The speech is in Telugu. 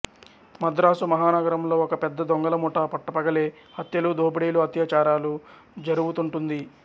మద్రాసు మహానగరంలో ఒక పెద్ద దొంగలముఠా పట్టపగలే హత్యలు దోపిడీలు అత్యాచారాలు జరుపుతుంటుంది